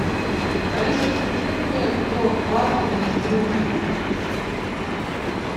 алиса закажи мне торт вафельный трюфель